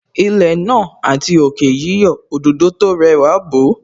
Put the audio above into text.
Ilẹ̀ náà àti òkè yíyọ̀, Òdòdó tó rẹwà bò ó